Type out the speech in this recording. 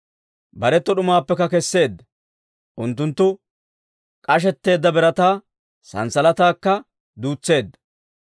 Bareto d'umaappekka kesseedda; unttunttu k'ashetteedda birataa sanssalataakka duutseedda.